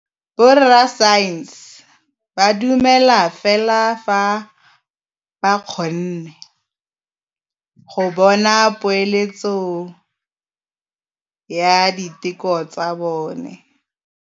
Borra saense ba dumela fela fa ba kgonne go bona poeletsô ya diteko tsa bone.